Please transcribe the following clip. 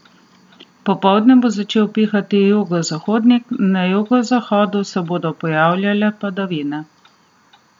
Popoldne bo začel pihati jugozahodnik, na jugozahodu se bodo pojavljale padavine.